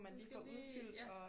Du skal lige ja